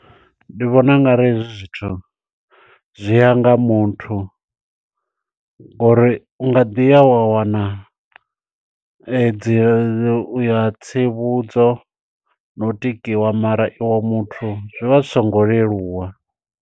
Ndi vhona ungari hezwi zwithu zwiya nga muthu, ngo uri u nga ḓiya wa wana dzi uya tsivhudzo na u tikiwa mara i we muthu zwi vha zwi songo leluwa.